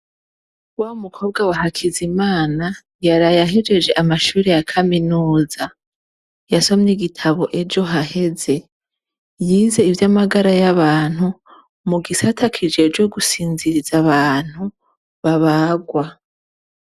Wa mukobwa wa Hakizimana, yaraye ahejeje amashure ya kaminuza. Yasomye igitabo ejo haheze. Yize ivy'amagara y' abantu, mu gisata kijejwe gusinziriza abantu babarwa.